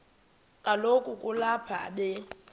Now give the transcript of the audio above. kaloku kulapho be